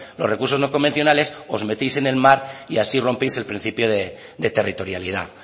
los recursos no convencionales os metéis en el mar y así rompéis el principio de territorialidad